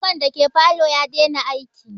Fankan dake falo ya dena aiki